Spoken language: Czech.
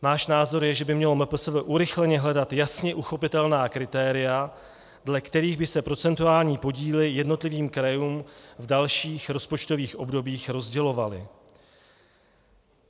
Náš názor je, že by mělo MPSV urychleně hledat jasně uchopitelná kritéria, dle kterých by se procentuální podíly jednotlivým krajům v dalších rozpočtových obdobích rozdělovaly.